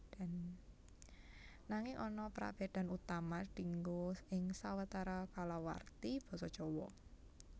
Nanging ana prabédan utama dienggo ing sawetara kalawarti basa Jawa